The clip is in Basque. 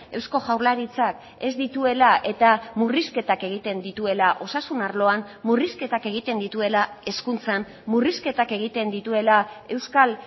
eusko jaurlaritzak ez dituela eta murrizketak egiten dituela osasun arloan murrizketak egiten dituela hezkuntzan murrizketak egiten dituela euskal